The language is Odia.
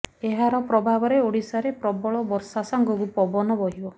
ଏହାର ପ୍ରଭାବରେ ଓଡ଼ିଶାରେ ପ୍ରବଳ ବର୍ଷା ସାଙ୍ଗକୁ ପବନ ବହିବ